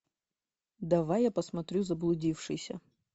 давай я посмотрю заблудившиеся